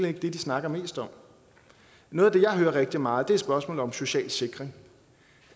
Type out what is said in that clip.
ikke det de snakker mest om noget af det jeg hører rigtig meget er spørgsmålet om social sikring